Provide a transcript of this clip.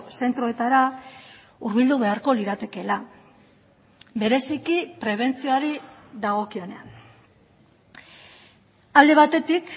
zentroetara hurbildu beharko liratekeela bereziki prebentzioari dagokionean alde batetik